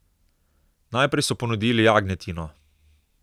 Najprej so ponudili jagnjetino.